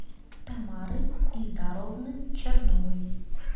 тамары ильдаровны черновой